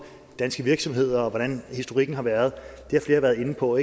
danske virksomheder og hvordan historikken har været har flere været inde på